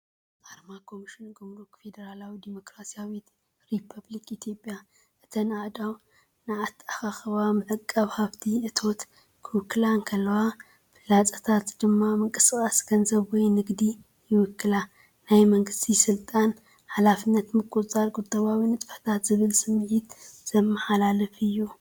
ኣርማ ኮሚሽን ጉምሩክ ፌደራላዊት ዲሞክራስያዊት ሪፓብሊክ ኢትዮጵያ። እተን ኣእዳው ንኣተኣኻኽባን ምዕቃብን ሃብቲ (እቶት) ክውክላ እንከለዋ፡ ፍላጻታት ድማ ምንቅስቓስ ገንዘብ ወይ ንግዲ ይውክላ። ናይ መንግስቲ ስልጣን፡ ሓላፍነትን ምቁጽጻር ቁጠባዊ ንጥፈታትን ዝብል ስምዒት ዘመሓላልፍ እዩ።